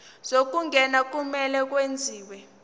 zokungena kumele kwenziwe